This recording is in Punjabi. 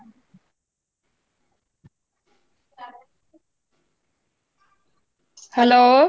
hello